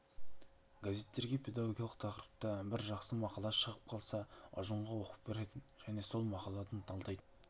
газеттерге педагогикалық тақырыпта бір жақсы мақала шығып қалса ұжымға оқып беретін және сол мақаланы талдайтынбыз